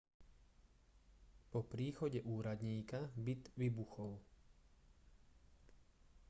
po príchode úradníka byt vybuchol